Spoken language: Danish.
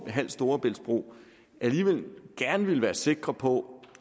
halv storebæltsbro alligevel gerne ville være sikre på